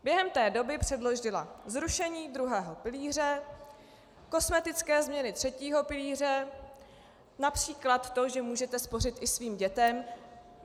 Během té doby předložila zrušení druhého pilíře, kosmetické změny třetího pilíře, například to, že můžete spořit i svým dětem.